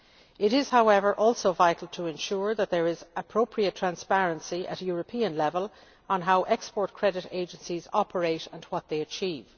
It is, however, also vital to ensure that there is appropriate transparency at European level on how Export Credit Agencies operate and what they achieve.